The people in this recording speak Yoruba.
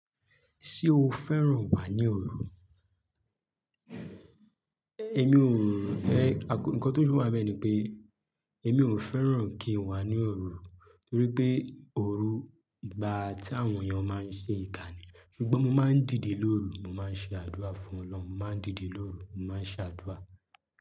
Ṣé o fẹ́ràn wà ní òru? Emi ò, ẹ̀, nnkan tó fi wa bẹẹ ni pé èmi ò fẹ́ràn kí n wà ní òru torí pé òru igba tí àwọn èèyàn máa ń ṣe ìkà ni, ṣùgbọ́n mo máa ń dìde lóru, mo máa ń ṣe àdúrà fún Ọlọ́run, mo máa ń dìde lóru, mo máa ń ṣe àdúrà.